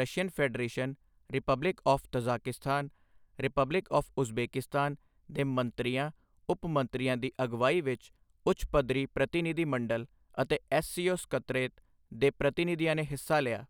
Russian federation, republic of Tajikistan, republic of Uzbekistan ਦੇ ਮੰਤਰੀਆਂ ਉਪ ਮੰਤਰੀਆਂ ਦੀ ਅਗਵਾਈ ਵਿੱਚ ਉੱਚ ਪੱਧਰੀ ਪ੍ਰਤੀਨਿਧੀ ਮੰਡਲ ਅਤੇ ਐੱਸਸੀਓ ਸਕੱਤਰੇਤ ਦੇ ਪ੍ਰਤੀਨਿਧੀਆਂ ਨੇ ਹਿੱਸਾ ਲਿਆ।